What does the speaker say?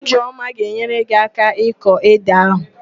Ijeoma ga-enyere gị áká ịkọ édè ahụ